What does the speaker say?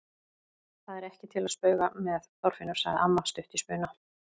Það er ekki til að spauga með, Þorfinnur! sagði amma stutt í spuna.